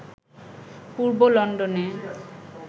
পূর্ব লন্ডনে